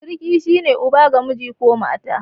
Siriki shi ne uba ga miji ko mata.